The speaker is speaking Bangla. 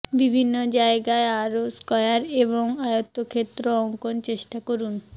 বিভিন্ন জায়গায় আরও স্কয়ার এবং আয়তক্ষেত্র অঙ্কন চেষ্টা করুন